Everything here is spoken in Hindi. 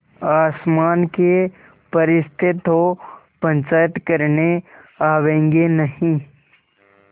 आसमान के फरिश्ते तो पंचायत करने आवेंगे नहीं